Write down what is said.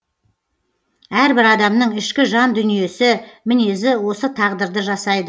әрбір адамның ішкі жан дүниесі мінезі осы тағдырды жасайды